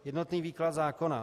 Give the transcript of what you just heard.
Jednotný výklad zákona.